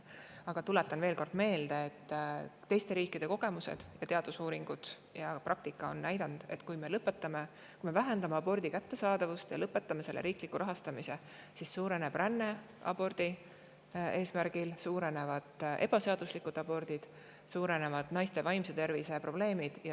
Aga tuletan veel kord meelde, et teiste riikide kogemused, teadusuuringud ja praktika on näidanud, et kui me vähendame abordi kättesaadavust ja lõpetame selle riikliku rahastamise, siis suureneb abordiränne, kasvab ebaseaduslike abortide arv ja suurenevad naiste vaimse tervise probleemid.